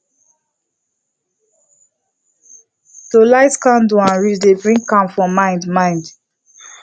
to light candle and read dey bring calm for mind mind